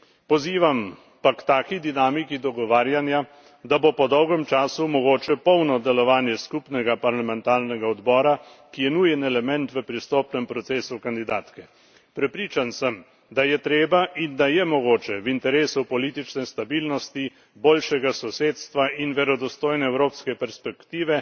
Pozivam pa k taki dinamiki dogovarjanja, da bo po dolgem času mogoče polno delovanje skupnega parlamentarnega odbora, ki je nujen element v pristopnem procesu kandidatke. Prepričan sem, da je treba in da je mogoče v interesu politične stabilnosti, boljšega sosedstva in verodostojne evropske perspektive